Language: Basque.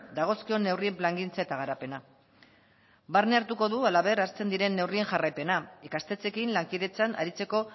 dagozkion neurrien plangintza eta garapena barne hartuko du halaber hartzen diren neurrien jarraipena ikastetxeekin lankidetzan aritzeko